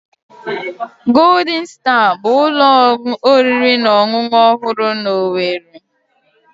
Golden Star bụ ụlọ oriri na ọṅụṅụ ọhụrụ na owerri.